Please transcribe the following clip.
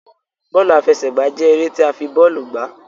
Bóòlù àfẹsẹ̀gbá jẹ eré ti a fi bóòlù gbà